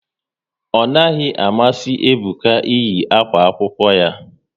Ọ naghị amasị Ebuka eyi akwa akwụkwọ ya